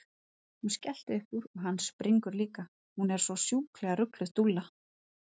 Hún skellir upp úr og hann springur líka, hún er svo sjúklega rugluð, dúlla!